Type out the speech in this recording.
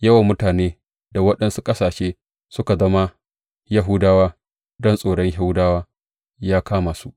Yawan mutane da waɗansu ƙasashe suka zama Yahudawa, don tsoron Yahudawa ya kama su.